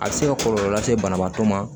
A bɛ se ka kɔlɔlɔ lase banabaatɔ ma